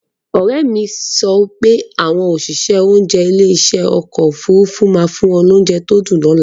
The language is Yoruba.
Òrẹ́mi sọ pé àwọn òṣìṣẹ́ oúnjẹ ilé ìṣe ọkọ̀ Òfurufú máa fún wọn ní oúnjẹ tó dùn.